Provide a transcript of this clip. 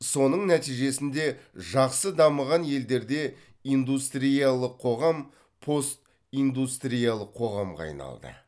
соның нәтижесінде жақсы дамыған елдерде индустриялық қоғам постиндустриялық қоғамға айналды